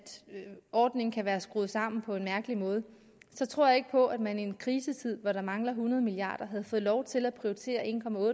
ordningen kan være skruet sammen på en mærkelig måde så tror jeg ikke på at man i en krisetid hvor der mangler hundrede milliard lige havde fået lov til at prioritere en